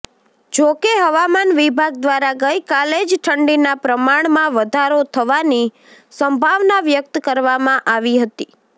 જોકે હવામાન વિભાગ દ્વારા ગઈકાલે જ ઠંડીના પ્રમાણમાં વધારો થવાની સંભાવના વ્યક્ત કરવામાં આવી હતી